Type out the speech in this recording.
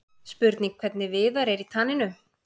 Spurning hvernig Viðar er í taninu?